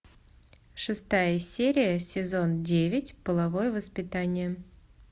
шестая серия сезон девять половое воспитание